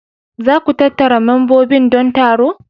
Za ku tattara membobin don taro.